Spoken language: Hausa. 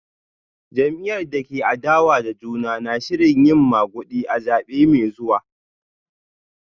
Jam’iyyar da ke adawa da juna na shirin yin magudi a zabe mai zuwa